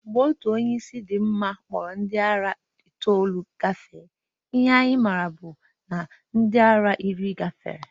Mgbe otu onye isi dị mma kpọrọ ndị ara itoolu gafee, ihe anyị mara bụ na ndị ara iri gafere